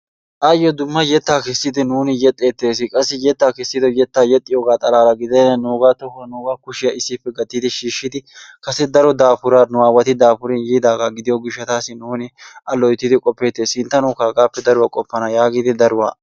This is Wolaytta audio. Ayyo dumma yettaa kessidi nuuni yexxeettees. Qassi yettaa kessidi yettaa yexxiyogaa xalaala gidenan nuugaa tohuwa nuugaa kushiya issippe gattidi shiishidi kase daro daafuran nu aawati yexi daafurin yiidaaga gidiyo gishshataassi nuuni A loyttidi qoppettees. Sinttanawukka hagaappe daruwaa qofana yaagidi daruwa..